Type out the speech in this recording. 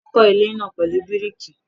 Wọ́n kọ́ ilé náà pẹ̀lú bíríkì.